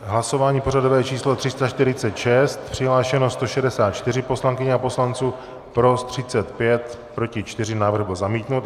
Hlasování pořadové číslo 346, přihlášeno 164 poslankyň a poslanců, pro 35, proti 4, návrh byl zamítnut.